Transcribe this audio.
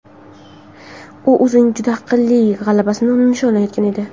U o‘zining juda aqlli g‘alabasini nishonlayotgan edi.